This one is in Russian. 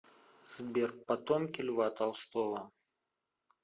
сбер потомки льва толстого